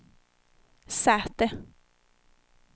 säte